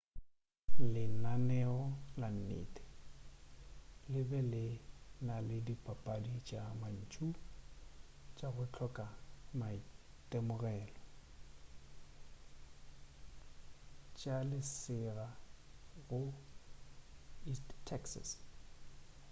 lenaneo la nnete le be le na le dipapadi tša mantšu tša go hloka maitemogelo tša selega go east texas